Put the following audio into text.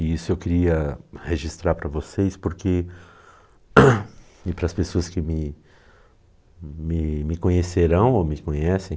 E isso eu queria registrar para vocês por que, e para as pessoas que me me me conhecerão ou me conhecem.